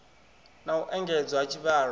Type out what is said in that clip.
na u engedzwa ha tshivhalo